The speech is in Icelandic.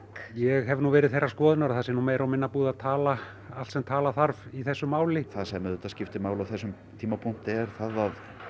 ég hef nú verið þeirrar skoðunar að það sé nú meira og minna búið að tala allt sem tala þarf í þessu máli það sem auðvitað skiptir máli á þessum tímapunkti er það að